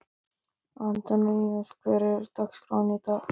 Antoníus, hvernig er dagskráin í dag?